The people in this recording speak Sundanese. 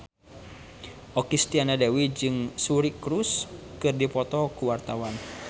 Okky Setiana Dewi jeung Suri Cruise keur dipoto ku wartawan